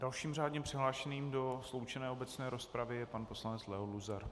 Dalším řádně přihlášeným do sloučené obecné rozpravy je pan poslanec Leo Luzar.